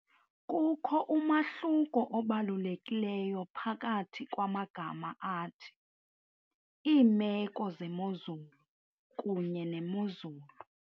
Kukho umahluko obalulekileyo phakathi kwamagama athi 'iimeko zemozulu' kunye 'nemozulu'.